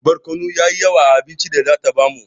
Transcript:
Barkono yayi yawa a abincin data bamu